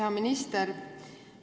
Hea minister!